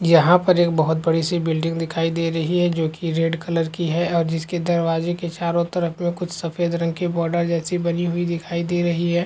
यहाँ पर एक बहोत बड़ी- सी बिल्डिंग दिखाई दे रही है जोकि रेड कलर की है और जिसके दरवाजे के चारों तरफ में कुछ सफ़ेद रंग की बॉर्डर जैसी बनी हुई दिखाई दे रही हैं।